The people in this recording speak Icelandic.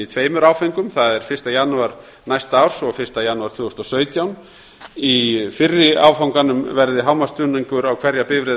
tveimur áföngum það er fyrsta janúar næsta árs og fyrsta janúar tvö þúsund og sautján í fyrra áfanganum verði hámarksstuðningur á hverja bifreið